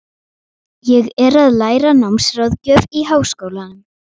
Ég er að læra námsráðgjöf í Háskólanum.